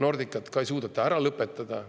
Nordicat ka ei suudeta ära lõpetada.